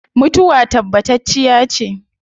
Mutuwa tabbatacciya ce